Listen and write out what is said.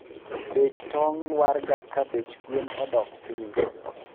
Bech tong lwarga ka bech gwen odok piny